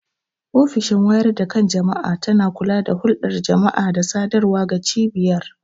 Ofishin wayar da kan jama'a tana kula da hulɗar jama'a da sadarwa ga cibiyar.